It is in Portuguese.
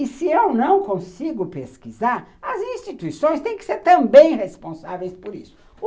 E se eu não consigo pesquisar, as instituições têm que ser também responsáveis por isso.